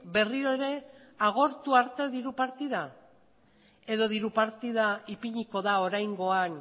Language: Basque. berriro ere agortu arte diru partida edo diru partida ipiniko da oraingoan